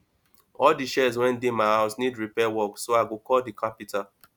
all the chairs wey dey my house need repair work so i go call the carpenter